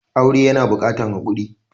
Aure yana buƙatan hakuri.